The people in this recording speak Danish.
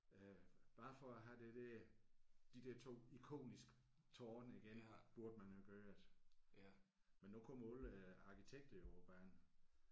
Øh bare for at have det der de der 2 ikoniske tårne igen burde man jo gøre det. Men nu kommer alle arkitekterne jo på banen